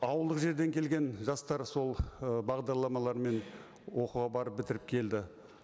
ауылдық жерден келген жастар сол ы бағдарламалармен оқуға барып бітіріп келді